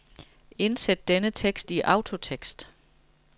Indsæt denne tekst i autotekst.